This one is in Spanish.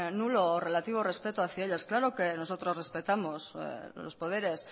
nulo o relativo respeto hacia ellas claro que nosotros respetamos los poderes